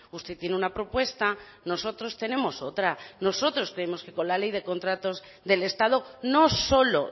usted tiene una propuesta nosotros tenemos otra nosotros creemos que con la ley de contratos del estado no solo